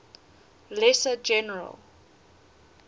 lesser general